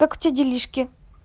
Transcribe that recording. как у тебя делишки